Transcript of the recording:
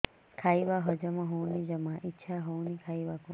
ଖାଇବା ହଜମ ହଉନି ଜମା ଇଛା ହଉନି ଖାଇବାକୁ